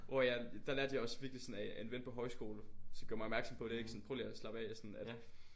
Hvor jeg der lærte jeg også virkelig sådan af af en ven på højskole som gjorde mig opmærksom på det ikke sådan prøv lige at slappe af sådan at